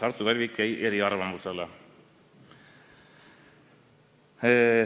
Artur Talvik jäi eriarvamusele.